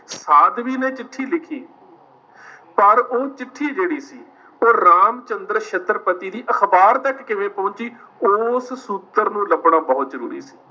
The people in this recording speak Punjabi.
ਸਾਧਵੀ ਨੇ ਚਿੱਠੀ ਲਿਖੀ ਪਰ ਉਹ ਚਿੱਠੀ ਜਿਹੜੀ ਸੀ, ਉਹ ਰਾਮ ਚੰਦਰ ਛਤਰਪਤੀ ਦੀ ਅਖ਼ਬਾਰ ਦੇ ਤੱਕ ਕਿਵੇਂ ਪਹੁੰਚੀ, ਉਸ ਸੂਤਰ ਨੂੰ ਲੱਭਣਾ ਬਹੁਤ ਜ਼ਰੂਰੀ ਸੀ।